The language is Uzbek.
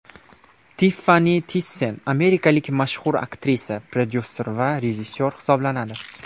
Tiffani Tissen amerikalik mashhur aktrisa, prodyuser va rejissyor hisoblanadi.